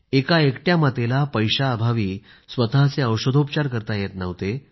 एका एकट्या मातेला पैशाअभावी स्वतःचे औषधोपचार करता येत नव्हते